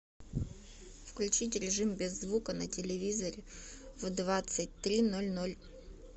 включить режим без звука на телевизоре в двадцать три ноль ноль